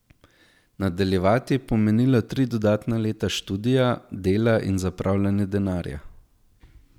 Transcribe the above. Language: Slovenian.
Nadaljevati je pomenilo tri dodatna leta študija, dela in zapravljanja denarja.